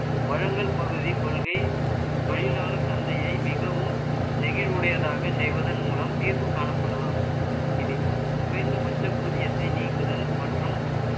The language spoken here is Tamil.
வளங்கள் பகுதி கொள்கை, தொழிலாளர் சந்தையை, மிகவும் நெகிழ்வுடையதாக செய்வதன் மூலம், தீர்வு காணப்படலாம். இதில், குறைந்தபட்ச ஊதியத்தை நீக்குதல், மற்றும்